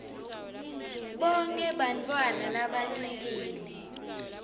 bonkhe bantfwana labancikile